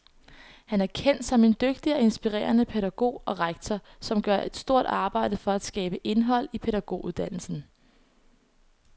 Han er kendt som en dygtig og inspirerende pædagog og rektor, som gør et stort arbejde for at skabe indhold i pædagoguddannelsen.